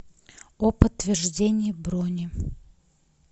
о подтверждении брони